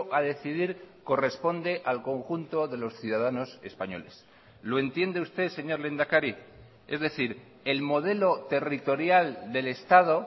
a decidir corresponde al conjunto de los ciudadanos españoles lo entiende usted señor lehendakari es decir el modelo territorial del estado